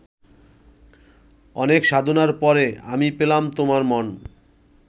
অনেক সাধনার পরে আমি পেলাম তোমার মন